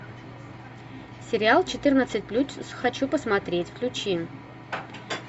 сериал четырнадцать плюс хочу посмотреть включи